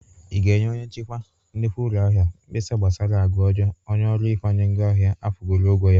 Ị ga-enye onye nchikwa nnukwu ụlọ ahịa a mgbesa gbasara agwa ọjọọ onye ọrụ ịkwanye ngwa ahịa agwụworo ọgwọ ya?